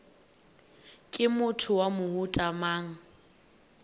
ke motho wa mohuta mang